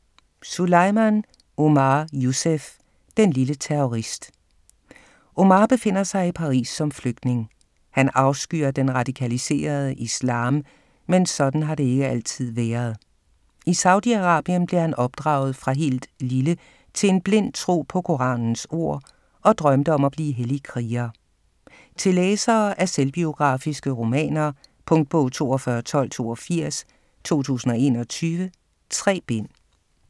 Souleimane, Omar Youssef: Den lille terrorist Omar befinder sig i Paris, som flygtning. Han afskyr den radikaliserede islam, men sådan har det ikke altid været. I Saudi-Arabien blev han opdraget, fra helt lille, til en blind tro på koranens ord og drømte om at blive hellig kriger. Til læsere af selvbiografiske romaner. Punktbog 421282 2021. 3 bind.